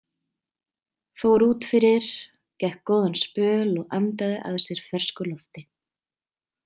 Fór út fyrir, gekk góðan spöl og andaði að sér fersku lofti.